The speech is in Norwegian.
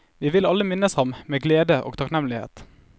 Vi vil alle minnes ham med glede og takknemlighet.